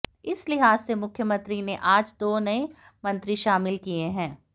इस लिहाज से मुख्यमंत्री ने आज दो नये मंत्री शामिल किये हैं